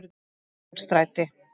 Ingólfsstræti